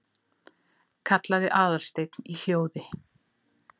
kallaði Aðalsteinn í hljóð